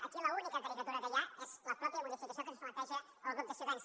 aquí l’única caricatura que hi ha és la mateixa modificació que ens planteja el grup de ciutadans